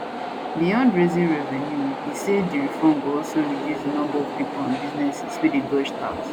beyond raising revenue e say di reform go also reduce di number of pipo and businesses wey dey ddodge tax